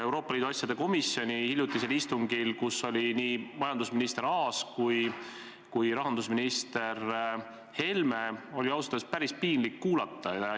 Euroopa Liidu asjade komisjoni hiljutisel istungil, kus olid ka nii majandusminister Aas kui rahandusminister Helme, oli ausalt öelda päris piinlik seda juttu kuulata.